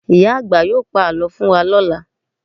Ìyá àgbà yóò pa àlọ́ fún wa lọ́la